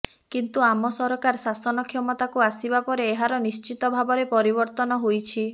କିନ୍ତୁ ଆମ ସରକାର ଶାସନ କ୍ଷମତାକୁ ଆସିବା ପରେ ଏହାର ନିଶ୍ଚିତ ଭାବରେ ପରିବର୍ତ୍ତନ ହୋଇଛି